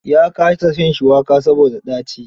Ya kasa shan shuwaka saboda ɗaci.